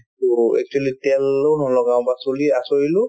to actually তেলো নলগাওঁ বা চুলি আঁচোৰিলো